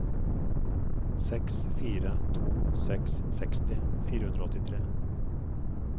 seks fire to seks seksti fire hundre og åttitre